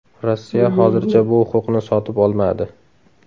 Rossiya hozircha bu huquqni sotib olmadi.